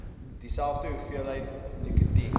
dieselfde hoeveelheid nikotien